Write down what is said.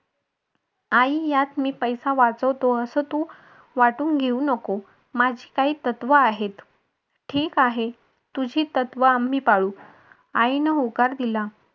आई यात मी पैसा वाचवतोय. असं तू वाटून घेऊ नको. माझी काही तत्व आहेत. ठीक आहे. तुझी तत्व आणि पाळू आईन होकार दिला.